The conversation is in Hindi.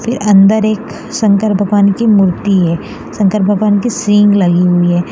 फिर अंदर एक शंकर भगवान की मूर्ति है शंकर भगवान के सिंघ लगी हुई है।